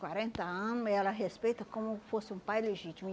quarenta ano e ela respeita como fosse um pai legítimo. E